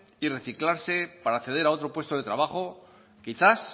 y reciclarse para acceder a otro puesto de trabajo quizás